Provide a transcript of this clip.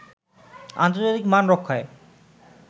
আন্তর্জাতিক মান রক্ষায়